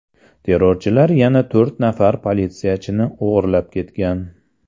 Terrorchilar yana to‘rt nafar politsiyachini o‘g‘irlab ketgan.